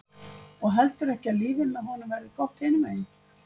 Og heldurðu ekki að lífið með honum verði gott hinum megin?